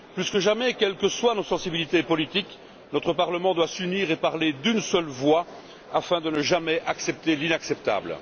Plus que jamais, quelles que soient nos sensibilités politiques, notre Parlement doit s'unir et parler d'une seule voix afin de ne jamais accepter l'inacceptable.